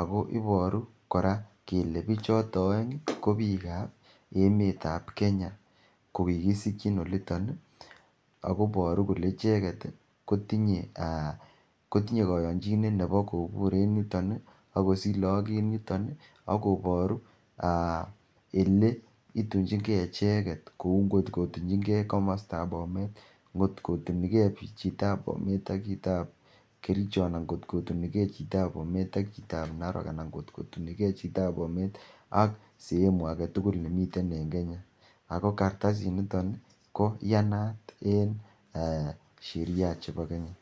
ako iboru koraa kele bichoto oeng kobikab emetab Kenya kokikisikyin olito ako iboru kole ichekt kotinye aa ,kotinye koyonchinet nebo kobur en yuton ii ak kosich lagok en yuton ii, akoboru aa eletinjingee icheket kou ngot kotunjingee komostab Bomet, ngot kotunigee chitab Bomet ak chitab Kericho, anan ngot kotunigee chitab Bomet ak chitab Narok, anan ngot kotunikee chitab Bomet ak sehemu aketugul nemiten en Kenya ako kartasinito koiyanat en ee sheria chebo Kenya.